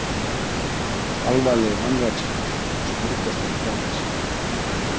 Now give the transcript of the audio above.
Alvarleg vanræksla og stórkostlegt gáleysi